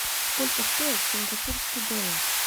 сколько стоит сингапурский доллар